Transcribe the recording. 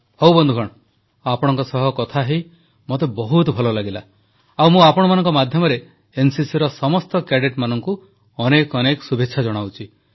ହଉ ବନ୍ଧୁଗଣ ଆପଣମାନଙ୍କ ସହ କଥାହୋଇ ମୋତେ ବହୁତ ଭଲ ଲାଗିଲା ଆଉ ମୁଁ ଆପଣମାନଙ୍କ ମାଧ୍ୟମରେ ଏନସିସିର ସମସ୍ତ କ୍ୟାଡେଟମାନଙ୍କୁ ଅନେକ ଅନେକ ଶୁଭେଚ୍ଛା ଜଣାଉଛି